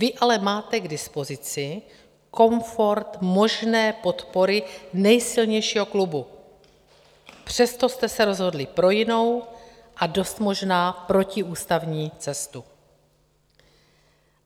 Vy ale máte k dispozici komfort možné podpory nejsilnějšího klubu, přesto jste se rozhodli pro jinou a dost možná protiústavní cestu.